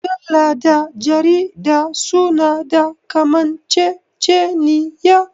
Mujalla da jarida su na da kamanceceniya